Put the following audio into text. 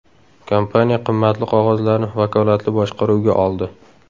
Kompaniya qimmatli qog‘ozlarni vakolatli boshqaruvga oldi.